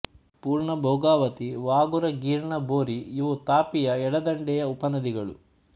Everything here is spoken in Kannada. ಪೂರ್ಣಾ ಭೋಗಾವತಿ ವಾಘುರ ಗೀರ್ಣಾ ಬೋರಿಇವು ತಾಪಿಯ ಎಡದಂಡೆಯ ಉಪನದಿಗಳು